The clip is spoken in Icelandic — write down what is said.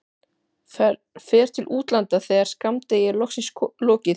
Fer til útlanda þegar skammdegi er loksins lokið.